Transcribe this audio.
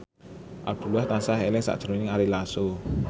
Abdullah tansah eling sakjroning Ari Lasso